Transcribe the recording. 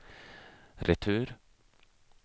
retur